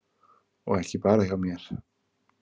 Og ekki bara hjá mér.